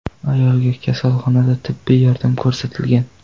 Ayolga kasalxonada tibbiy yordam ko‘rsatilgan.